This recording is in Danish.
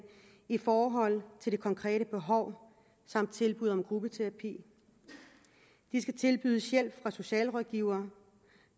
i forhold til det konkrete behov samt tilbud om gruppeterapi de skal tilbydes hjælp fra socialrådgivere